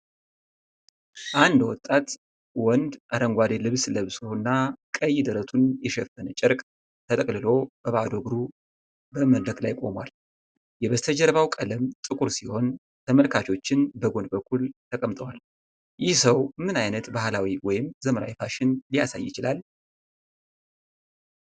አንድ ወጣት ወንድ አረንጓዴ ልብስ ለብሶና ቀይ ደረቱን የሸፈነ ጨርቅ ተጠቅልሎ በባዶ እግሩ በመድረክ ላይ ቆሟል። የበስተጀርባው ቀለም ጥቁር ሲሆን ተመልካቾች በጎን በኩል ተቀምጠዋል። ይህ ሰው ምን አይነት ባህላዊ ወይም ዘመናዊ ፋሽን ሊያሳይ ይችላል?